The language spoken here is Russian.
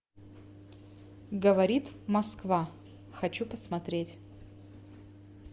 говорит москва хочу посмотреть